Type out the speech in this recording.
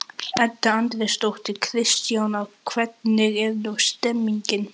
Edda Andrésdóttir: Kristjana, hvernig er nú stemningin?